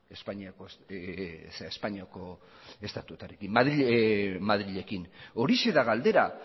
madrilekin horixe da galdera